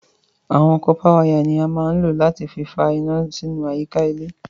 Awọn kọ̀pà wàya ni à mà n lọ̀ láti fì fà iná sí àyíkà ilẹ̀